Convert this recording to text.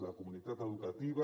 la comunitat educativa